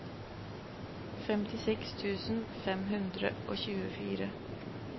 femtiseks tusen fem hundre og tjuefire